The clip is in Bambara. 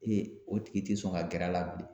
Ee o tigi te sɔn ka gɛr'a la bilen